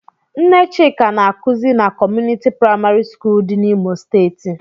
Nne Chika na-akuzi na Community Praịmarị skul dị n'Imo steeti.